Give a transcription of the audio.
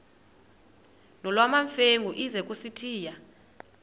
nolwamamfengu ize kusitiya